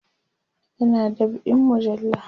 yana dab'in mujalla